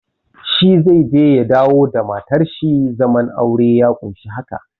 Shi zai je ya dawo da matar shi, zaman aure ya ƙunshi haka.